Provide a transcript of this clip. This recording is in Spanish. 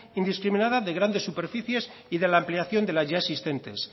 indiscriminada de grandes superficies y de la ampliación de las ya existentes